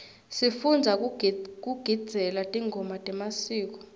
sifundza kugidzela tingoma temasiko